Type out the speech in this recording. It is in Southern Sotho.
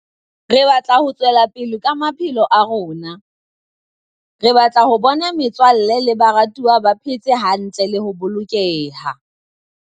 Re batla ho tswela pele ka maphelo a rona. Re batla ho bona metswalle le baratuwa ba phe tse hantle le ho bolokeha.